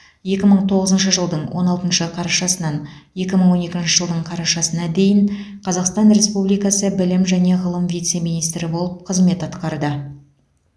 екі мың тоғызыншы жылдың он алтыншы қарашасынан екі мың он екінші жылдың қарашасына дейін қазақстан республикасы білім және ғылым вице министрі болып қызмет атқарды